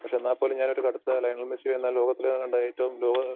പക്ഷേ, എന്നാൽപോലും ഞാൻ ഒരു കടുത്ത ലയണൽ മെസ്സി എന്നാ ലോകത്തിലെ കണ്ട ഏറ്റവും